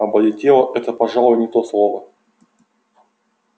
облетела это пожалуй не то слово